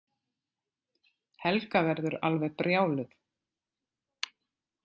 Helga verður alveg brjáluð.